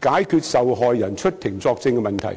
解決受害人出庭作證的問題。